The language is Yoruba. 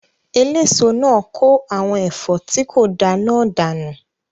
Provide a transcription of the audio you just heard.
Eléso náà kó àwọn ẹ̀fọ́ tí kò da náà dànù